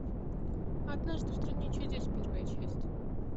однажды в стране чудес первая часть